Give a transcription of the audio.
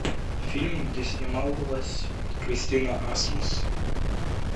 фильм где снималась кристина асмус